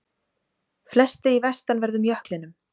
Flestir í vestanverðum jöklinum